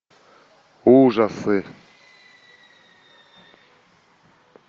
ужасы